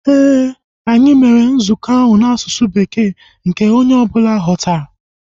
Éè, anyị mere nzukọ ahu n'asụsụ Bekee nke onye ọbụla ga-aghọta